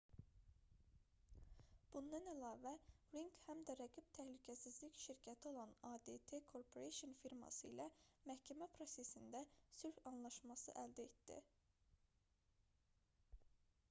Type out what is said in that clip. bundan əlavə ring həm də rəqib təhlükəsizlik şirkəti olan adt corporation firması ilə məhkəmə prosesində sülh anlaşması əldə etdi